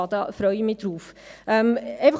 Darauf freue ich mich.